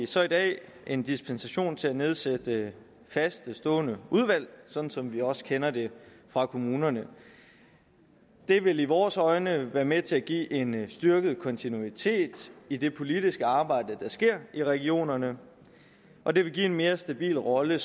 så i dag en dispensation til at nedsætte faste stående udvalg sådan som vi også kender det fra kommunerne det vil i vores øjne være med til at give en styrket kontinuitet i det politiske arbejde der sker i regionerne og det vil give en mere stabil rolle